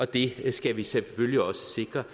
det skal vi selvfølgelig også sikre